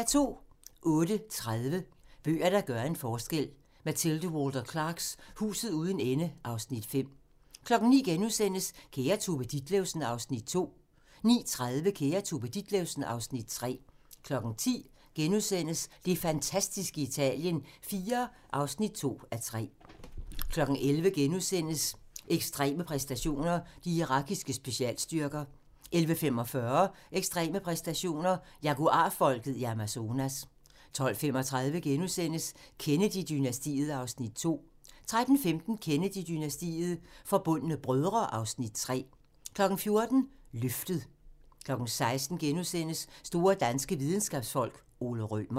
08:30: Bøger, der gør en forskel: Mathilde Walter Clarks "Huset uden ende" (Afs. 5) 09:00: Kære Tove Ditlevsen (Afs. 2)* 09:30: Kære Tove Ditlevsen (Afs. 3) 10:00: Det fantastiske Italien IV (2:3)* 11:00: Ekstreme præstationer: De irakiske specialstyrker * 11:45: Ekstreme præstationer: Jaguar-folket i Amazonas 12:35: Kennedy-dynastiet (Afs. 2)* 13:15: Kennedy-dynastiet - Forbundne brødre (Afs. 3) 14:00: Løftet 16:00: Store danske videnskabsfolk: Ole Rømer *